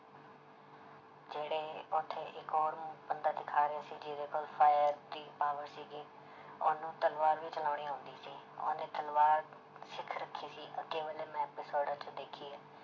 ਜਿਹੜੇ ਉੱਥੇ ਇੱਕ ਹੋਰ ਬੰਦਾ ਦਿਖਾ ਰਿਹਾ ਸੀ ਜਿਹਦੇ ਕੋਲ fire ਦੀ power ਸੀਗੀ ਉਹਨੂੰ ਤਲਵਾਰ ਵੀ ਚਲਾਉਣੀ ਆਉਂਦੀ ਸੀ ਉਹਨੇ ਤਲਵਾਰ ਸਿੱਖ ਰੱਖੀ ਸੀ ਅੱਗੇ ਵਾਲੇ ਮੈਂ ਐਪੀਸੋਡਾਂ 'ਚ ਦੇਖੀ ਹੈ